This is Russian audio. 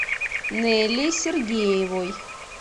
неллей сергеевой